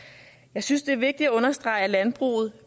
jeg synes det er vigtigt at understrege at landbruget